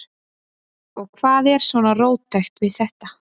Og hvað er svona róttækt við þetta?